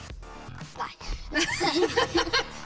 nei